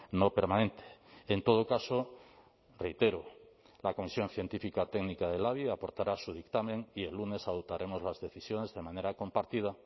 no permanente en todo caso reitero la comisión científica técnica del labi aportará su dictamen y el lunes adoptaremos las decisiones de manera compartida